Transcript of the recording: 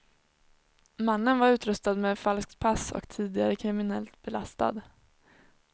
Mannen var utrustad med falskt pass och tidigare kriminellt belastad.